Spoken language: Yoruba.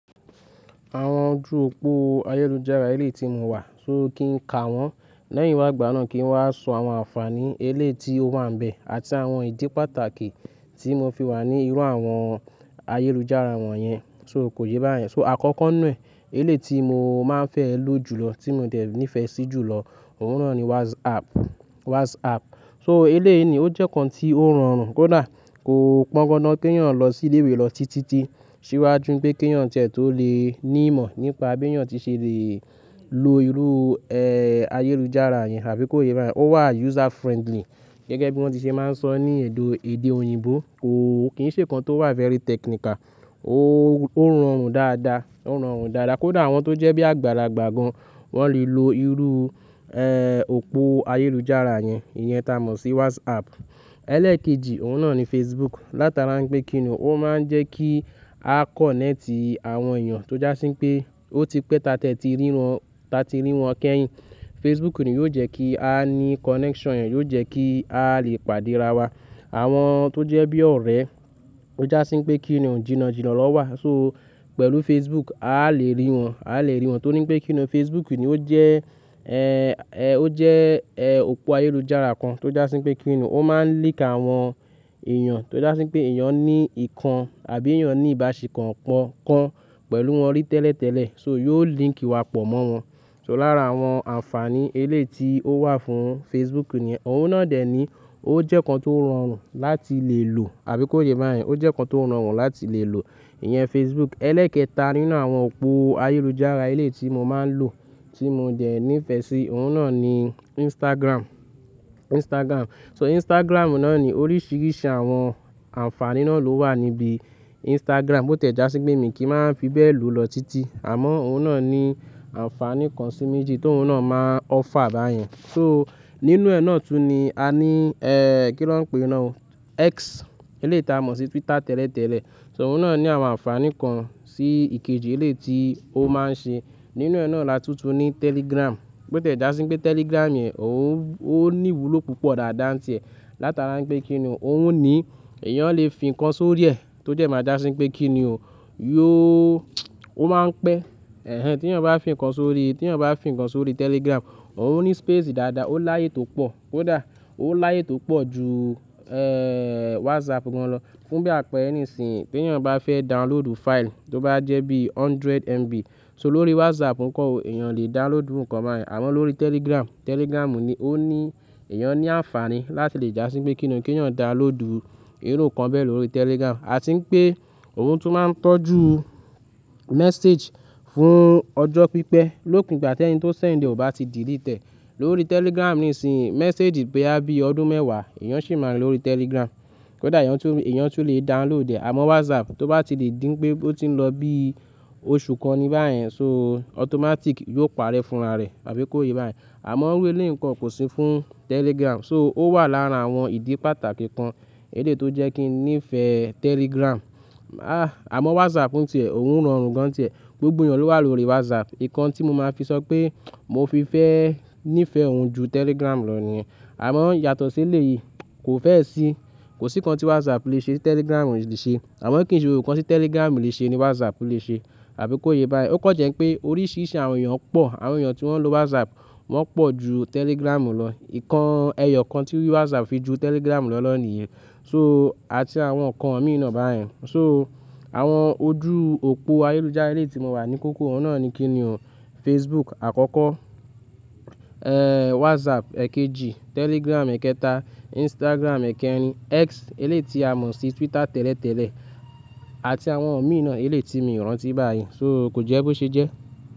Àwọn ojú òpó ayélujára eléyìí tí mo wà, so kí n ka wọ́n lẹ́yìn wá gbà náà kí n wá sọ àwọn ànfàní eléyi ti ó wà níbẹ̀ àti àwọn ìdí pàtàkì tí mo fi wà ní irú àwọn ayélujára wọ̀nyẹn. So kò yé bá yẹn. So àkọ́kọ́ nu ẹ, eléyìí tí mo máa ń fẹ́ lò jùlọ tí mo dẹ̀ ní ìfẹ́ sí jùlọ, òun náà ni WhatsApp. WhatsApp. So eléyìí ni ó jẹ́ kan tí ó ń rọrùn kódà kò pọ́ńgọ̀ná kí èèyàn lọ sí ilé ìwé lọ títí. Ṣíwájú pé kí èèyàn tẹ̀ tó lè ní ìmọ̀ nípa bí èèyàn tí ṣe lè lo irú, ẹ́, ayélujára yẹn àbí kó yé bá yẹn. Ó wà user friendly gẹ́gẹ́ bí wọ́n ti ṣe máa ń sọ ní ẹ̀dọ̀ èdè òyìnbó. Ko kì ń ṣe kan tó wà very technical. Ó, ó ń rọrùn dáadáa. Ó ń rọrùn dáadáa kódà àwọn tó jẹ́ bí àgbàlágbà gan wọ́n lè lo irú, ẹ́, òpó ayélujára yẹn. Ìyẹn ta mọ̀ sí WhatsApp. Ẹlẹ́ẹ̀kejì òun náà ni Facebook. Látara wipé kí ni ò, o máa ń jẹ́ kí a connect àwọn èèyàn tó já sí pé ó ti pẹ́ tatẹ tí rí wọn, ta ti rí wọn kẹ́yìn. Facebook ni yóò jẹ́ kí a ní connection yẹn, yóò jẹ́ kí a lè pàdé ra wa. Àwọn tó jẹ́ bí ọ̀rẹ́ tó já sí pé kí ni ò jìnàjìnà na wà. So pẹ̀lú Facebook a lè rí wọn, a lè rí wọn tó ní pé kí ni Facebook ni ó jẹ́, ẹ́, ẹ, ó jẹ́, ẹ, òpó ayélujára kan tó já sí pé kí ni ò, o máa ń link àwọn èèyàn tó já sí pé èèyàn ní ìkan àbí èèyàn ní ìbáṣe kan pọ̀ kan pẹ̀lú wọn rí tẹ́lẹ̀tẹ́lẹ̀. So yóò link wa pọ̀ mọ́ wọn. So lára àwọn ànfàní eléyi ti ó wà fún Facebook nìyẹn. Òun náà dẹ̀ ní ó jẹ́ kan tó rọrùn láti lè lò àbí kó yé bá yẹn. Ó jẹ́ n kan tó rọrùn láti lè lò. Ìyẹn Facebook. Ẹlẹ́ẹ̀kẹta nínú àwọn òpó ayélujára eléyi tí mo máa ń lò tí mo dẹ̀ ní ìfẹ́ sí, òun náà ni Instagram. Instagram. So Instagram náà ni oríṣiríṣi àwọn ànfàní náà ló wà níbi Instagram. Ó tẹ̀ já sí pé mi kì í máa ń fi bẹ́ẹ̀ lò lọ títí. Àmọ́ òun náà ní ànfàní kan sí méjì tó òun náà máa ọ́fà bá yẹn. So nínú ẹ̀ nà tú ni a ní, ẹ́, kí lọ ń pè náà? X. Eléyi tí a mọ̀ sí Twitter tẹ́lẹ̀tẹ́lẹ̀. So òun náà ní àwọn ànfàní kan sí ìkejì eléyìí tí ó máa ń ṣe. Nínú ẹ̀ nà la túntún ní Telegram. Bó tẹ̀ já sí pé Telegram yẹn òun, ó ní ìwúlò púpọ̀ dáadáa ń tìẹ́ látara pé kí ni o òun ní èèyàn lè fi ǹkan sórí ẹ tó jẹ́ máa já sí pé kí ni òun, yóò ó máa ń pẹ́. Ẹ̀hẹn, tí èèyàn bá fi ǹkan sórí, tí èèyàn bá fi ǹkan sórí Telegram, òun ní space dáadáa, ó láyé tó pọ̀. Kódà ó láyé tó pọ̀ ju, ẹ́, WhatsApp gan lọ. Fún bí àpẹẹrẹ nísìnyìí pé èèyàn bá fẹ́ download file tó bá jẹ́ bí one hundred MB. So lórí WhatsApp nǹkan ò-- èèyàn lè download ǹkan báyìí. Àmọ́ lórú Telegram, Telegram ni ó ní èèyàn ní ànfàní láti lè já sí pé kí ni ò, kí èèyàn download irú ǹkan bẹ́ẹ̀ lórí Telegram. A ti ń pé òun tún máa ń tọ́jú message fún ọjọ́ pípẹ́ lópin gbà tí ẹni tó send ẹ ò bá ti delete ẹ. Lórí Telegram nísìnyìí message pé á bí ọdún mẹ́wàá èèyàn ṣì máa rí lórí Telegram. Kódà èèyàn tún lè, èèyàn tún lè download ẹ. Àmọ́ WhatsApp tó bá ti lè dín pé ó ti ń lọ bí oṣù kan ni báyìí yẹn so automatic yóò parẹ́ fúnra rẹ̀ àbí kó yé bá yẹn. Àmọ́ iru eléyìí ǹkọ kò sí fún Telegram. So ó wà lára àwọn ìdí pàtàkì kan eléyìí tó jẹ́ kí n nífẹ̀ẹ́ Telegram. Ah! Àmọ́ WhatsApp ń tì ẹ́, òun ń rọrùn gan ń tì ẹ́. Gbogbo èèyàn ló wà lórí WhatsApp. Ìkan tí mo máa fi sọ pé mo fi fẹ́ ní ìfẹ́ òun ju Telegram lọ ni. Àmọ́ yàtọ̀ sí elé yìí kò fẹ́ sì, kò sí kan tí WhatsApp lè ṣe Telegram ò lè ṣe. Àmọ́ kí n ṣe gbogbo nkan tí Telegram lè ṣe ni WhatsApp lè ṣe àbí kó yé bá yẹn. Ó kan jẹ ń pé oríṣiríṣi àwọn èèyàn pọ̀, àwọn èèyàn tí wọ́n ń lo WhatsApp wọ́n pọ̀ ju Telegram lọ. Ìkan ẹyọ kan tí WhatsApp fi ju Telegram lọ náà nìyẹn. So àti àwọn ǹkan òmíì náà bá yẹn. So àwọn ojú òpó ayélujára eléyìí tí mo wà ní kókó òun náà ni kí ni ò. Facebook àkọ́kọ́, ẹ́, WhatsApp ẹ̀kẹ́jì, Telegram ẹ̀kẹta, Instagram ẹ̀kẹrin, X eléyìí tí a mọ̀ sí Twitter tẹ́lẹ̀tẹ́lẹ̀ àti àwọn òmíì náà eléyìí tí mi o rántí báyìí. So kò jẹ́ bo ṣe jẹ́.